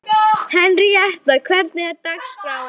Henríetta, hvernig er dagskráin?